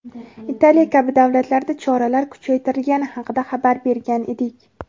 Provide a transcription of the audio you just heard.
Italiya kabi davlatlarda choralar kuchaytirilgani haqida xabar bergan edik.